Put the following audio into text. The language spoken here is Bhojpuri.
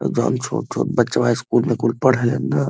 एकदम छोट छोट बचवा स्कूल में कुल पढ़ेलन न।